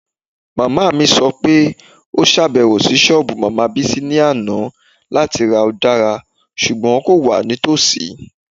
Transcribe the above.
Mama mi sọ pe o ṣabẹwo si soobu Madam Bisi ni ana lati ra udara ṣugbọn ko wa nitosi